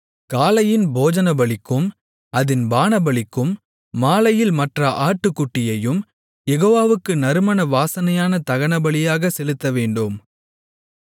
காலையின் போஜனபலிக்கும் அதின் பானபலிக்கும் மாலையில் மற்ற ஆட்டுக்குட்டியையும் யெகோவாவுக்கு நறுமண வாசனையான தகனபலியாகச் செலுத்தவேண்டும்